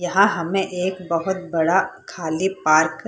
यहाँ हमें एक बहत बड़ा खाली पार्क --